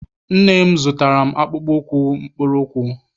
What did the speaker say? Nne m zụtaara m akpụkpọ ụkwụ mkpụrụụkwụ.